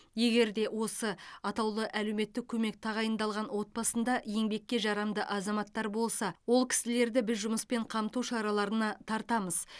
егер де осы атаулы әлеуметтік көмек тағайындалған отбасында еңбекке жарамды азаматтар болса ол кісілерді біз жұмыспен қамту шараларына тартамыз